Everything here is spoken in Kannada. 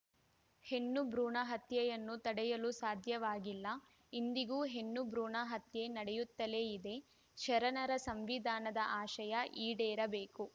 ಹೆಣ್ಣು ಭ್ರೂಣ ಹತ್ಯೆಯನ್ನು ತಡೆಯಲು ಸಾಧ್ಯವಾಗಿಲ್ಲ ಇಂದಿಗೂ ಹೆಣ್ಣು ಭ್ರೂಣ ಹತ್ಯೆ ನಡೆಯುತ್ತಲೇ ಇದೆ ಶರಣರ ಸಂವಿಧಾನದ ಆಶಯ ಈಡೇರಬೇಕು